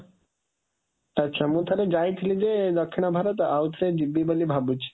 ଆଚ୍ଛା, ଆଚ୍ଛା ମୁଁ ଥରେ ଯାଇଥିଲି ଯେ ଦକ୍ଷିଣ ଭାରତ ଆଉ ଥରେ ଯିବି ବୋଲି ଭାବୁଛି